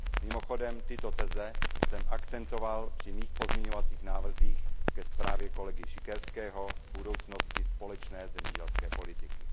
Mimochodem tyto teze jsem akcentoval při mých pozměňovacích návrzích ke zprávě kolegy Siekierského o budoucnosti společné zemědělské politiky.